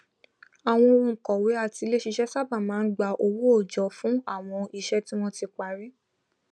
àwọn ònkọwé atiléṣiṣẹ sábà máa n gba owó òòjọ fún àwọn iṣẹ tí wọn ti parí